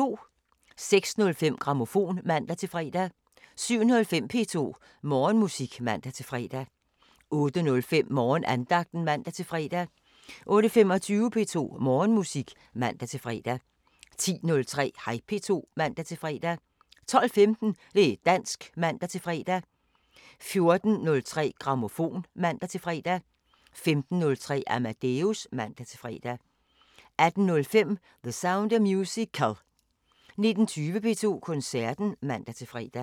06:05: Grammofon (man-fre) 07:05: P2 Morgenmusik (man-fre) 08:05: Morgenandagten (man-fre) 08:25: P2 Morgenmusik (man-fre) 10:03: Hej P2 (man-fre) 12:15: Det´ dansk (man-fre) 14:03: Grammofon (man-fre) 15:03: Amadeus (man-fre) 18:05: The Sound of Musical 19:20: P2 Koncerten (man-fre)